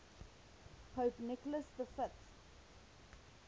pope nicholas v